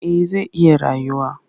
Eh zai iya rayuwa